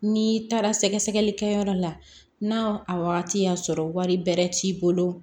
N'i taara sɛgɛsɛgɛlikɛ yɔrɔ la n'a wagati y'a sɔrɔ wari bɛrɛ t'i bolo